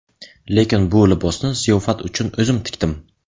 Lekin bu libosni ziyofat uchun o‘zim tikdim”.